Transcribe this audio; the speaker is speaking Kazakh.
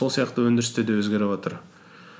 сол сияқты өндірісте де өзгеріватыр